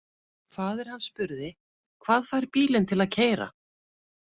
Faðir hann spurði: Hvað fær bílinn til að keyra?